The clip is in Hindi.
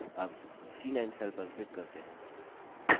अब c9 cell पर click करते हैं